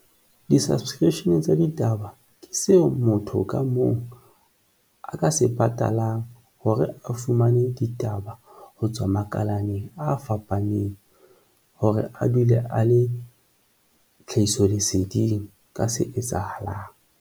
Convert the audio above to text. Di-subscription tsa ditaba ke seo motho ka mong a ka se patalang hore a fumane ditaba ho tswa makalane a fapaneng hore a dule a le tlhahiso leseding ka se etsahalang.